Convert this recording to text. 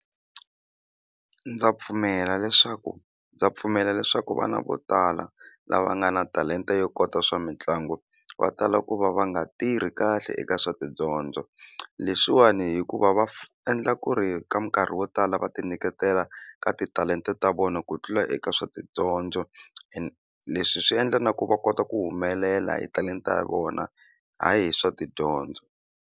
Ndza pfumela leswaku ndza pfumela leswaku vana vo tala lava nga na talenta yo kota swa mitlangu va tala ku va va nga tirhi kahle eka swa tidyondzo leswiwani hikuva va endla ku ri ka minkarhi yo tala va ti nyiketela ka titalenta ta vona ku tlula eka swa tidyondzo and leswi swi endla na ku va kota ku humelela hi talenta hi vona hayi hi swa tidyondzo.